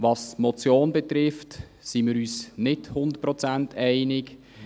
Was die Motion betrifft, sind wir uns nicht hundertprozentig einig.